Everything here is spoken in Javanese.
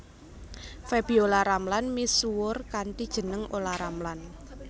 Febiola Ramlan misuwur kanthi jeneng Olla Ramlan